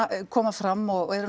koma fram og eru